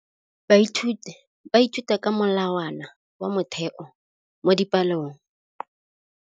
Baithuti ba ithuta ka molawana wa motheo mo dipalong.